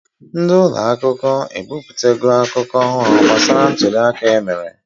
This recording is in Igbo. Ndị ụlọ akụkọ ebipụta go akụkọ ọhụụ gbasara ntụli aka emere